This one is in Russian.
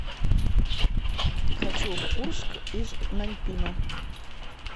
хочу в курск из наньпина